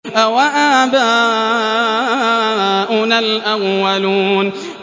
أَوَآبَاؤُنَا الْأَوَّلُونَ